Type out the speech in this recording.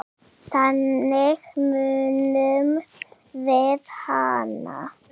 Þannig munum við hana.